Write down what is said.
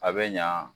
A bɛ ɲa